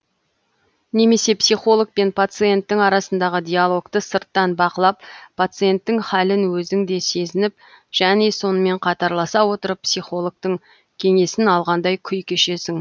немесе психолог пен пациенттің арасындағы диалогты сырттан бақылап пациенттің хәлін өзің де сезініп және сонымен қатарласа отырып психологтың кеңесін алғандай күй кешесің